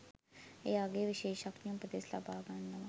එයාගේ විශේෂඥ උපදෙස් ලබා ගන්නවා.